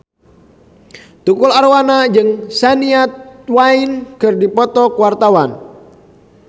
Tukul Arwana jeung Shania Twain keur dipoto ku wartawan